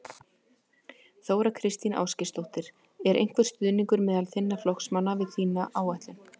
Þóra Kristín Ásgeirsdóttir: Er einhver stuðningur meðal þinna flokksmanna við þína áætlun?